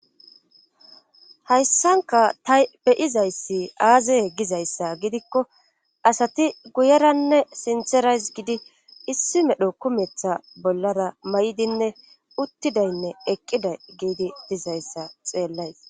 hayssanka ta beyizayssi aazaye gizayssa gidikko asati guyeranne sinterays gidi issi medho kumetha bollara may7idinne uttidaynne eqqida giidi dizayssa xeellays